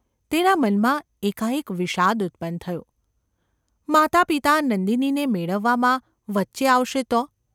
તેના મનમાં એકાએક વિષાદ ઉત્પન્ન થયો, ‘માતાપિતા નંદિનીને મેળવવામાં વચ્ચે આવશે તો?